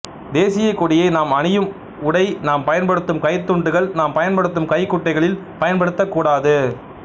தேசியக் கொடியை நாம் அணியும் உடை நாம் பயன்படுத்தும் கைத்துண்டுகள் நாம் பயன்படுத்தும் கைக்குட்டைகளில் பயன்படுத்தக் கூடாது